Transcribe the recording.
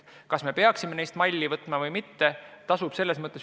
Kas me peaksime neist malli võtma või mitte?